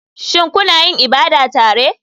Shin kuna yin ibada tare?